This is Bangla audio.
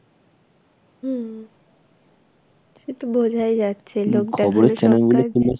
"হম. সেতো বোঝাই যাচ্ছে